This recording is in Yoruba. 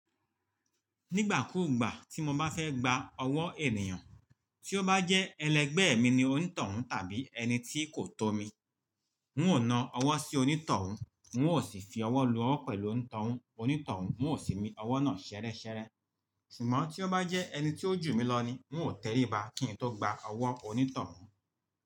Nígbàkúùgbà tí mo bá fẹ́ gba ọwọ́ ènìyàn, tí ó bá jẹ́ ẹlẹgbẹ́ mi ni onítọ̀hún tàbí ẹni tí kò tó mi, n ó na ọwọ́ sí onítọ̀hún, n ó sì fi ọwọ́ lu ọwọ́ pẹ̀lú onítọ̀hún, n ó sì mí ọwọ́ náà ṣẹ́rẹ́ṣẹ́rẹ́. Sùgbọ́n tí ó bá jẹ́ ẹni tó jù mí lọ ni n ó tẹríba kí n tó gba ọwọ́ onítọ̀hún.